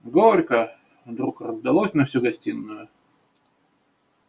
горько вдруг раздалось на всю гостиную